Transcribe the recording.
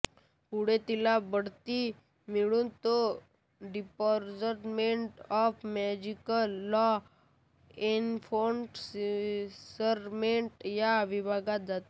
पुढे तिला बढती मिळून ती department of magical law enforcement या विभागात जाते